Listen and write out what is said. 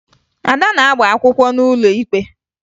Ada na-agba akwụkwọ n'ụlọ ikpe